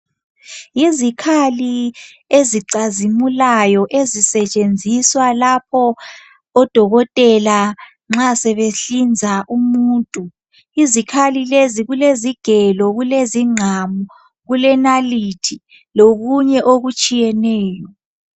Izikhali ezicazimulayo ezisetshenziswa ngodokotela nxa sebehlinza umuntu. Kulezigelo, ingqamu , inalithi lokunye okutshiyeneyo.